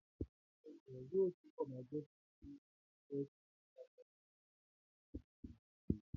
Àwọn ènìyàn yóò túbọ̀ ma jọ́sìn nínú àwọn ṣọ́ọ̀ṣì, mọṣáláṣí tàbí àwọn ilé-ìsìn òrìṣà